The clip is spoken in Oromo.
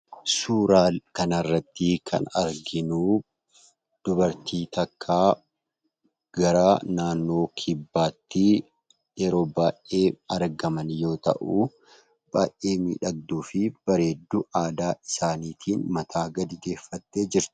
Suuraan kana irratti kan arginuu dubartii tokko gara naannoo kibbaattii kan argaman yoo ta'uu baay'ee miidhagduufi bareedduu aadaa isaaniitiin mataa gadi deeffattee jirtu.